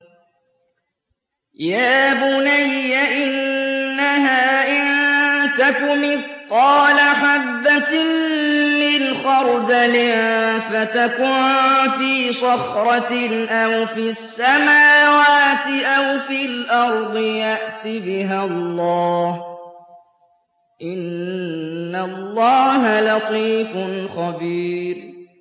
يَا بُنَيَّ إِنَّهَا إِن تَكُ مِثْقَالَ حَبَّةٍ مِّنْ خَرْدَلٍ فَتَكُن فِي صَخْرَةٍ أَوْ فِي السَّمَاوَاتِ أَوْ فِي الْأَرْضِ يَأْتِ بِهَا اللَّهُ ۚ إِنَّ اللَّهَ لَطِيفٌ خَبِيرٌ